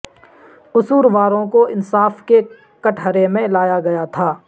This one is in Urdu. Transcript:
قصورواروں کو انصاف کے کٹہرے میں لایا گیا تھا